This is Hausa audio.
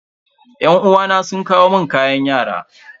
Yan uwana sun kawo mun kayan yara.